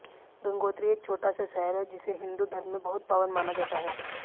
गंगोत्री एक छोटा सा शहर है जिसे हिंदू धर्म में बहुत पावन माना जाता है